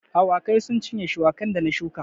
Awakai sun cinye shuwakan da na shuka